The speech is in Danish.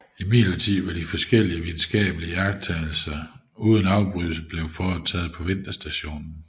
Imidlertid var de forskellige videnskabelige iagttagelser uden afbrydelse blevet foretaget på vinterstationen